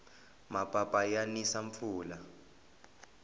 mapapa ya nisa mpfula